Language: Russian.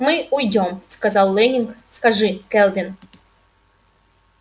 мы уйдём сказал лэннинг скажи кэлвин